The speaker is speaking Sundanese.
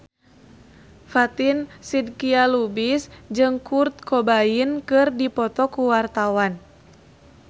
Fatin Shidqia Lubis jeung Kurt Cobain keur dipoto ku wartawan